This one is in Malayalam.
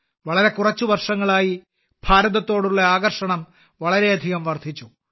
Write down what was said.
കഴിഞ്ഞ കുറച്ച് വർഷങ്ങളായി ഭാരതത്തോടുള്ള ആകർഷണം വളരെയധികം വർദ്ധിച്ചു